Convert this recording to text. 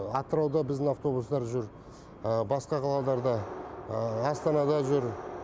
атырауда біздің автобустар жүр басқа қалаларда астанада жүр